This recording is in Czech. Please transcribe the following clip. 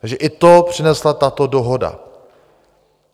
Takže i to přinesla tato dohoda.